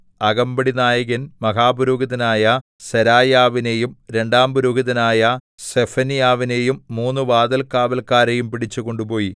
അകമ്പടിനായകൻ മഹാപുരോഹിതനായ സെരായാവിനെയും രണ്ടാം പുരോഹിതനായ സെഫന്യാവിനെയും മൂന്നു വാതിൽകാവല്ക്കാരെയും പിടിച്ചു കൊണ്ടുപോയി